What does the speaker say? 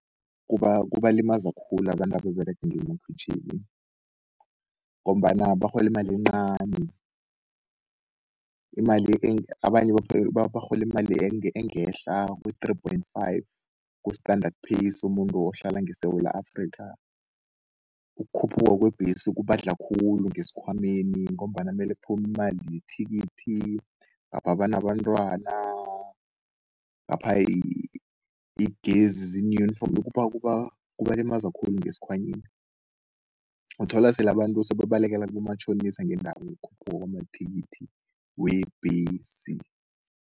Kubalimaza khulu abantu ababerega ngemakhwitjhini, ngombana barholi imali encani. Barhola imali engehla kwe-three point five, ku-standard pay somuntu ohlala ngeSewula Afrika. Ukhuphuka kwebhesi kubadla khulu ngeskhwameni, ngombana mele phumi imali yethikithi ngapha banabantwana. Ngapha yigezi kubalimaza khulu ngeskhwanyeni. Uthola sele abantu sebabalekela kibomatjhonisa ngendabokhuphuka kwamathikithi webhesi.